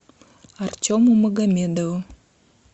артему магомедову